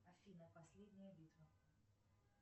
афина последняя битва